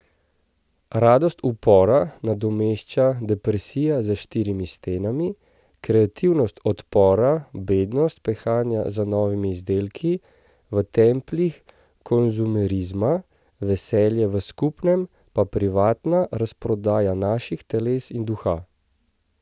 Radost upora nadomešča depresija za štirimi stenami, kreativnost odpora bednost pehanja za novimi izdelki v templjih konzumerizma, veselje v skupnem pa privatna razprodaja naših teles in duha.